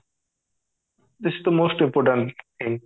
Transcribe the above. this is the most important thing